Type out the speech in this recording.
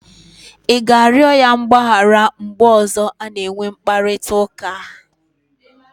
Ị ga-arịọ ya mgbaghara mgbe ọzọ a ga-enwe mkparịta ụka?